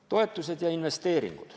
Toetused ja investeeringud.